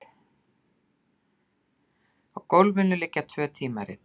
Á gólfinu liggja tvö tímarit.